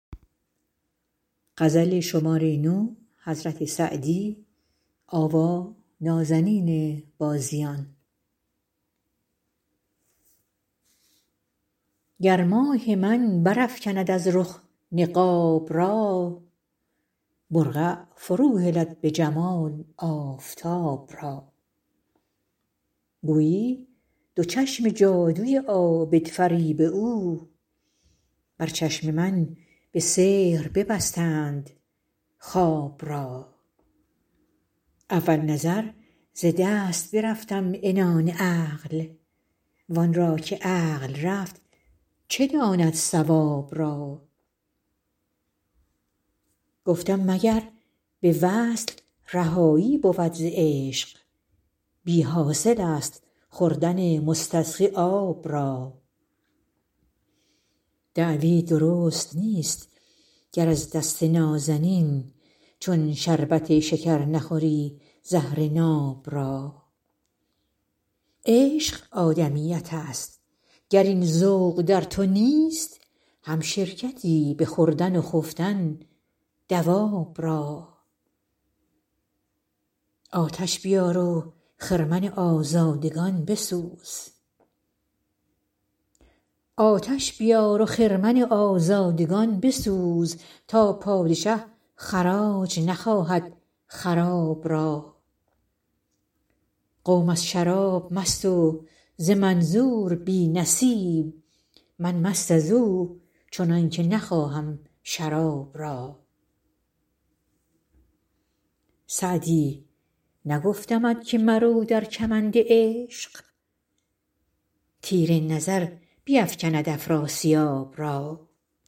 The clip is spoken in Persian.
گر ماه من برافکند از رخ نقاب را برقع فروهلد به جمال آفتاب را گویی دو چشم جادوی عابدفریب او بر چشم من به سحر ببستند خواب را اول نظر ز دست برفتم عنان عقل وان را که عقل رفت چه داند صواب را گفتم مگر به وصل رهایی بود ز عشق بی حاصل است خوردن مستسقی آب را دعوی درست نیست گر از دست نازنین چون شربت شکر نخوری زهر ناب را عشق آدمیت است گر این ذوق در تو نیست همشرکتی به خوردن و خفتن دواب را آتش بیار و خرمن آزادگان بسوز تا پادشه خراج نخواهد خراب را قوم از شراب مست و ز منظور بی نصیب من مست از او چنان که نخواهم شراب را سعدی نگفتمت که مرو در کمند عشق تیر نظر بیفکند افراسیاب را